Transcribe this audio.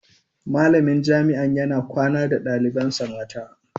Malamin jami'an na yana kwana da dalibansa mata.